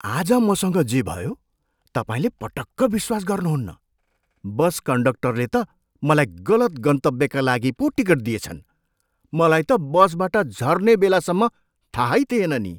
आज मसँग जे भयो, तपाईँले पटक्क विश्वास गर्नुहुन्न! बस कन्डक्टरले त मलाई गलत गन्तव्यका लागि पो टिकट दिएछन्। मलाई त बसबाट झर्ने बेलासम्म थाहै थिएन नि!